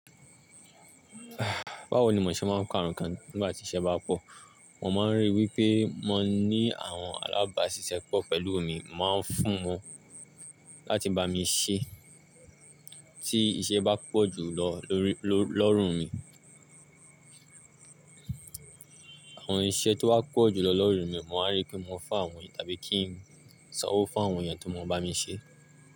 Báwo ni mò ń ṣe máa ń kaa nkan nígbà tí iṣẹ́ bá pọ̀? Mo máa ń ríi wípé mo ní àwọn alábáṣiṣẹ́pọ̀ pẹ̀lú mi máa ń fún wọn láti bá mi ṣẹ́ tí iṣẹ́ bá pọ̀ jùlọ lọ, ló, lọ́rùn mi. Àwọn iṣẹ́ tó bá pọ̀ jùlọ lọ́rùn mi, mo máa ríi pé mo fún àwọn èèyàn tàbí kí n sanwó fún àwọn èèyàn tó mo bá mi ṣe.